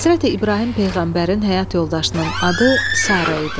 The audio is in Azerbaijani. Həzrəti İbrahim peyğəmbərin həyat yoldaşının adı Sara idi.